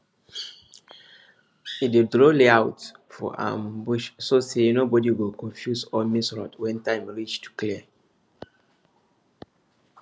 e dey draw layout for um bush so say nobody go confuse or miss road when time reach to clear